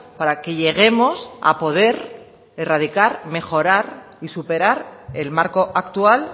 para que lleguemos a poder erradicar mejorar y superar el marco actual